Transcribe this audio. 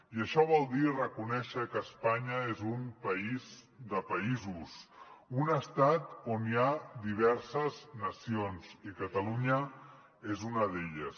i això vol dir reconèixer que espanya és un país de països un estat on hi ha diverses nacions i catalunya és una d’elles